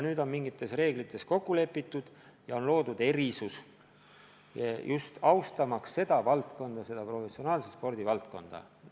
Nüüd on mingites reeglites kokku lepitud ja loodud erisus, just austamaks professionaalse spordi valdkonda.